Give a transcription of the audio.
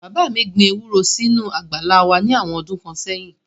Bàbá mi gbin ewúro sínú àgbàlá wá ní àwọn ọdún kan sẹ́yìn